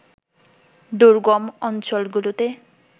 দুর্গম অঞ্চলগুলোতে